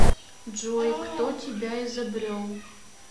джой кто тебя изобрел